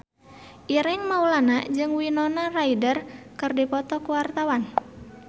Ireng Maulana jeung Winona Ryder keur dipoto ku wartawan